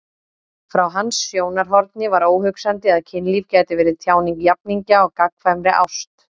Frá hans sjónarhorni var óhugsandi að kynlíf gæti verið tjáning jafningja á gagnkvæmri ást.